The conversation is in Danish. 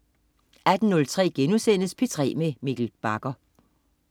18.03 P3 med Mikkel Bagger*